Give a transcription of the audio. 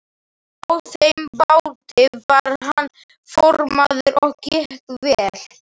Á þeim báti var hann formaður og gekk vel.